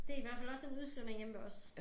Det i hvert fald også en udskrivning hjemme ved os